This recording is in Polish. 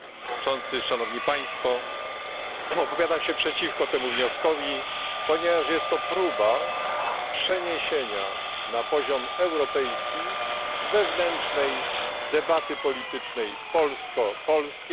Opowiadam się przeciwko temu wnioskowi, ponieważ jest to próba przeniesienia na poziom europejski wewnętrznej debaty politycznej polsko polskiej, nawet jeżeli mówimy w innych językach.